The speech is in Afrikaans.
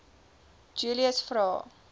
julies vra